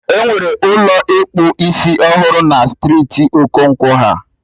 Enwere Ụlọ ịkpụ isiọhụrụ na striiti Okonkwo ha